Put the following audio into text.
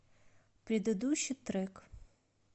предыдущий трек